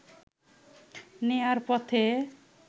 নেয়ার পথে